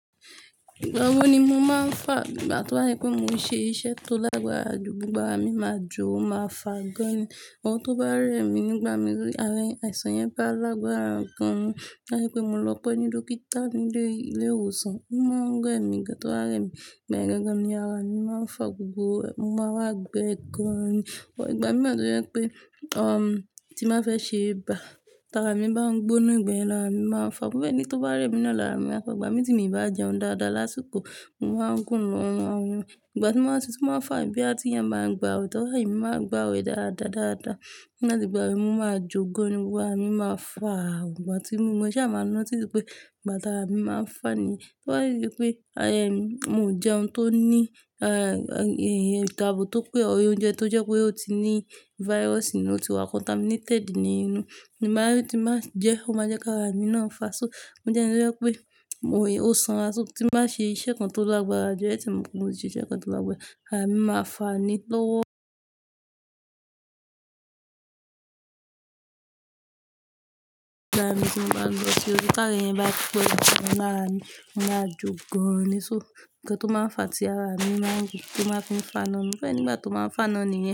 Igbawo ni mo máa ń fà ìgbà to bá yẹ pé mo ṣe iṣẹ́ tó lágbára jù, gbogbo ara mi máa jò ó máa fà gan ni. Ohun tó bá rẹ mi nígbà mi rí, àìsàn yẹn bá lágbára gan, láyé pé mo lọ pẹ́ ní dókítà ní ilé ìwòsàn, wọ́n máa ń rẹ mi gan tó bá rẹ mi, bẹ́ẹ̀ gangan ni ara mi máa ń fà gbogbo, mo máa ń wá gbẹ gan ni. Ọ̀, ìgbà mí wáa to jẹ́ pé pé, um, tí màá fẹ́ ṣe bá, tàrá mi bá ń gbóná ìgbà yẹn larà, mi máa ń fà. Mo fẹ́ ẹ ní ti ó bá rẹ mi nani, ara mi á fà, ìgbà mi tí mi o bá jẹun dáadáa lásìkò, mo máa ń kùn nú ọrùn. Ìgbà tí màá ti, tí màá fà bóyá ti eyan báa ń gba wẹ tọ́, láyè mi máa gba wẹ̀ dáadáa, dáadáa. Ti ń ba tigbà awẹ́, mo máa jó gan ni, gbogbo ara mi máa fà. Ìgbà tí mo mọ mo sa máa ńotice wi pé, ìgbà ti ara mi máa ń fà ni. Láyé pé, ayé mi, mo n jẹun tó ní, ẹ́, iyẹn ètò abo tó pé ye or oúnjẹ tó jẹ́ pé ó ti ní virus nínú, ó ti wá contaminated nínú. Ìgbà min ti n ba jẹ ó máa jẹ́ ká ara mi náà fà. So, mo jẹ́ ẹni tó jẹ́ pé, òye, ó sanra, so tí ba ṣe iṣẹ́ kan tó lágbára jù, ẹ tí mo pe mọ iṣẹ́ kan tó lágbára, ara mi máa fà ni lọ́wọ́. Ìgbà ara mi tí mo bá lọ sí orí káàkiri yẹn bá ti pé, mo lára mi, mo máa jó gan ni. So, nǹkan tó máa ń fà tí ara mi máa ń jù, tí ó máa ń fà náà ni. Mo fẹ́ ẹ ní ìgbà tó máa ń fà náà ni.